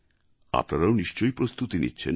আপনারাও নিশ্চয় প্রস্তুতি নিচ্ছেন